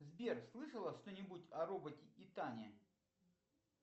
сбер слышала что нибудь о роботе итане